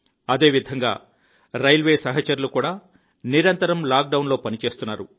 అదేవిధంగా రైల్వే సహచరులు కూడా నిరంతరం లాక్డౌన్లో పనిచేస్తున్నారు